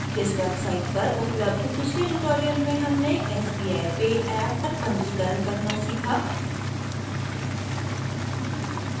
इस वेबसाइट पर उपलब्ध पिछले ट्यूटोरियल में हमने sbi pay ऍप पर पंजीकरण करना सीखा